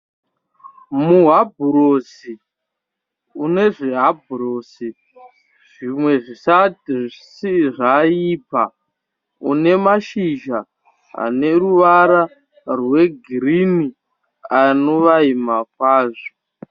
Muhabhurosi une zvihabhurosi zvimwe zvisati zvaibva une mashizha ane ruwara rwe girini anovaima kwazvo.